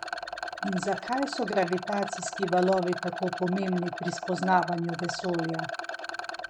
In zakaj so gravitacijski valovi tako pomembni pri spoznavanju vesolja?